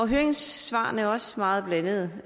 høringssvarene er også meget blandede